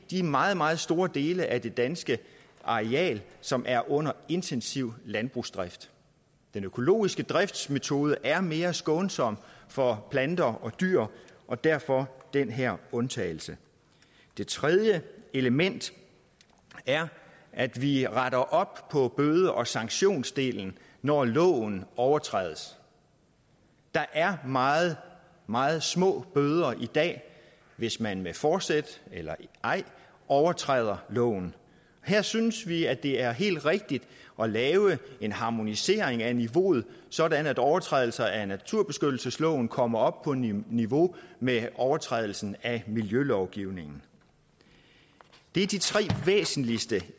de meget meget store dele af det danske areal som er under intensiv landbrugsdrift den økologiske driftsmetode er mere skånsom for planter og dyr og derfor den her undtagelse det tredje element er at vi retter op på bøde og sanktionsdelen når loven overtrædes der er meget meget små bøder i dag hvis man med forsæt eller ej overtræder loven her synes vi at det er helt rigtigt at lave en harmonisering af niveauet sådan at overtrædelser af naturbeskyttelsesloven kommer op på niveau med overtrædelser af miljølovgivningen det er de tre væsentligste